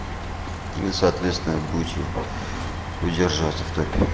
несоответствие будете удерживаться в топе